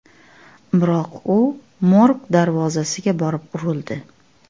Biroq u morg darvozasiga borib urildi.